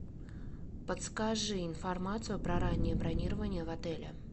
подскажи информацию про раннее бронирование в отеле